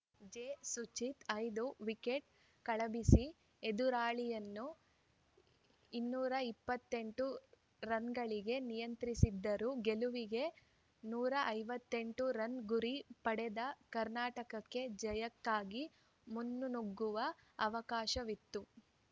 ಜೆಸುಚಿತ್‌ ಐದು ವಿಕೆಟ್‌ ಕಬಳಿಸಿ ಎದುರಾಳಿಯನ್ನು ಇನ್ನೂರ ಇಪ್ಪತ್ತ್ ಎಂಟು ರನ್‌ಗಳಿಗೆ ನಿಯಂತ್ರಿಸಿದರು ಗೆಲುವಿಗೆ ನೂರ ಐವತ್ತ್ ಎಂಟು ರನ್‌ ಗುರಿ ಪಡೆದ ಕರ್ನಾಟಕಕ್ಕೆ ಜಯಕ್ಕಾಗಿ ಮುನ್ನುಗ್ಗುವ ಅವಕಾಶವಿತ್ತು